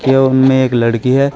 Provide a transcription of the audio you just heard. ये उनमें एक लड़की है।